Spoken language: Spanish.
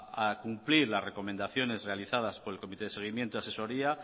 a cumplir las recomendaciones realizadas por el comité de seguimiento y asesoría